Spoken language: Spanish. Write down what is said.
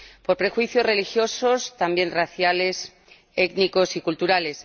Por prejuicios religiosos, también raciales, étnicos y culturales.